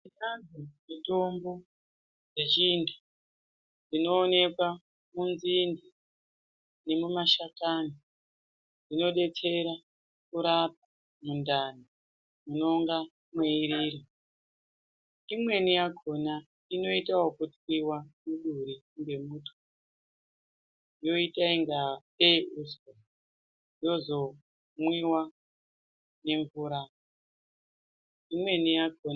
Pane mitombo yechintu inooneka munzinde nemumashakani inodetsera mundani munonga mweirira. Imweni yakona inoita wokutwiwa muduri ngemutwi, yoita ingatei uswa, yozomwiwa nemvura. Imweni yakona...